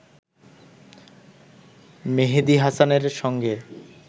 মেহেদী হাসানের সঙ্গে